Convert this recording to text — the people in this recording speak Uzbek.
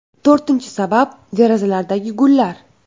To‘rtinchi sabab derazalardagi gullar.